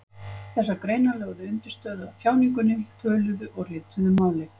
Þessar greinar lögðu undirstöðu að tjáningunni, töluðu og ritaðu máli.